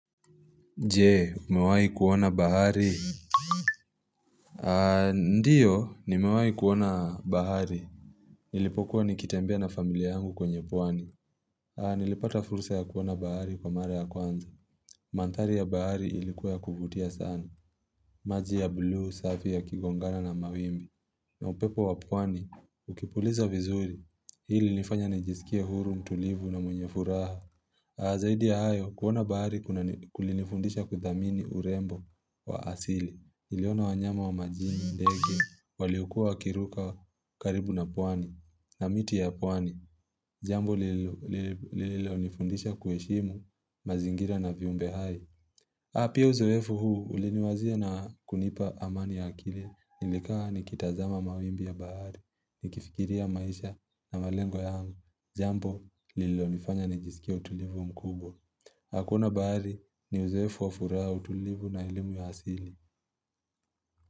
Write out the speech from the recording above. Jee umewahi kuona bahari Ndio nimewahi kuona bahari Nilipokuwa nikitambea na familia yangu kwenye pwani Nilipata fursa ya kuona bahari kwa mara ya kwanza Manthari ya bahari ilikuwa ya kuvutia sana maji ya buluu, safi ya kigongana na mawimbi na upepo wa pwani ukipuliza vizuri ili nifanye nijisikie huru mtulivu na mwenye furaha zaidi ya hayo kuona bahari kunani kulinifundisha kuthamini urembo wa asili niliona wanyama wa majini ndege waliokuwa wakiruka karibu na pwani na miti ya pwani Jambo lililo lililo nifundisha kuheshimu mazingira na viumbe hai apia uzoefu huu uliniwazia na kunipa amani ya akili nilikaa nikitazama mawimbi ya bahari nikifikiria maisha na malengo yangu jambo lilo nifanya nijisikie utulivu mkubwa. Hakuna bahari ni uzoefu au furaha utulivu na elimu ya asili.